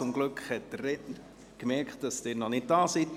zum Glück hat der Redner gemerkt, dass Sie noch nicht da waren.